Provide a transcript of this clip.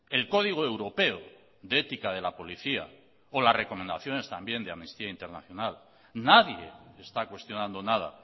el código europeo de ética de la policía o las recomendaciones también de amnistía internacional nadie está cuestionando nada